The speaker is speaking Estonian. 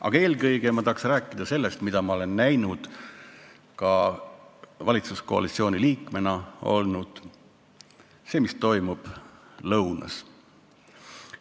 Aga eelkõige ma tahaks rääkida sellest, mida ma olen näinud olles valitsuskoalitsiooni liige – see, mis toimub lõunas.